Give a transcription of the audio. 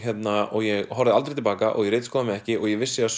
og ég horfði aldrei til baka og ég ritskoðaði mig ekki og ég vissi að